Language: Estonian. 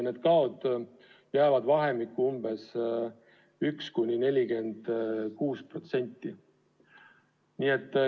Need kaod jäävad vahemikku 1–46%.